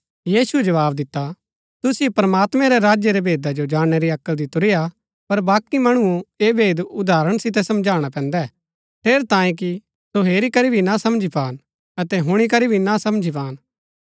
यीशुऐ जवाव दिता तुसिओ प्रमात्मैं रै राज्य रै भेदा जो जाणनै री अक्ल दितुरीआ पर बाकी मणुओ ऐह भेद उदाहरण सितै समझाणा पैन्दै ठेरैतांये कि सो हेरी करी भी ना समझी पान अतै हुणी करी भी ना समझी पान